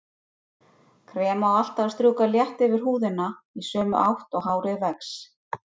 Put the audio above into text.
Krem á alltaf að strjúka létt yfir húðina í sömu átt og hárið vex.